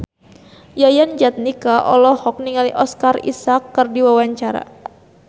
Yayan Jatnika olohok ningali Oscar Isaac keur diwawancara